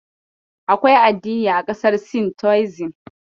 Akwai addini a ƙasar Sin Taoism.